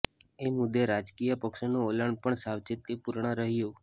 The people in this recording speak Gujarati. એ મુદ્દે રાજકીય પક્ષોનું વલણ પણ સાવચેતીપૂર્ણ રહ્યું